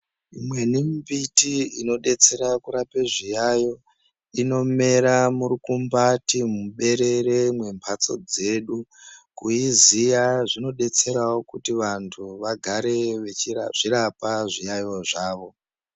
Imweni mbiti inodetsera kurapa zviyaiyo inomera murukumbati muberere mwembatso dzeedu kuiziya kundodetserawo kuti vantu vagare veizvirapa zviyaiyo zvavo.